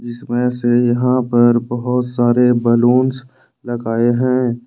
इसमें से यहां पर बहोत सारे बलूंस लगाए हैं।